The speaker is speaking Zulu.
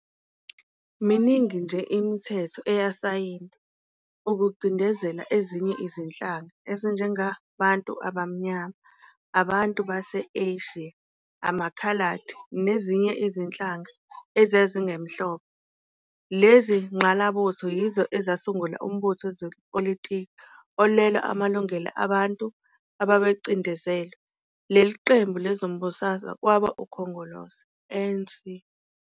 Miningi nje imithetho eyasayindwa ukucindezela ezinye izinhlanga ezinjengabantu abamnyama, abantu base-Eshiya, amakhaladi nezinye izinhlanga ezazingemhlophe. Lezingqalabutho yizo ezasungula umbutho wezepolitiki owalwela amalungelo abantu ababecindezelwe, lelo qembu lezombusazwe kwaba-Ukhongolose, ANC.